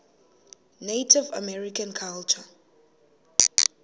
native american culture